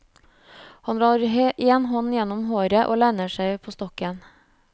Han drar en hånd gjennom håret, og lener seg på stokken.